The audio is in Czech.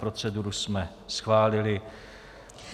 Proceduru jsme schválili.